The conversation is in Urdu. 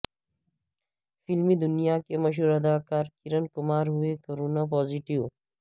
فلمی دنیا کے مشہور اداکار کرن کمار ہوئے کورانا پازیٹیو